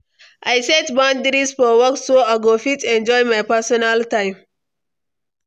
I set boundaries for work so I go fit enjoy my personal time.